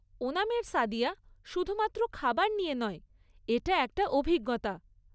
ওনামের সাদিয়া শুধুমাত্র খাবার নিয়ে নয়, এটা একটা অভিজ্ঞতা।